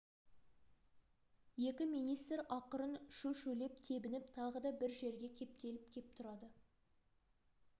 екі министр ақырын шу-шулеп тебініп тағы да бір жерге кептеліп кеп тұрады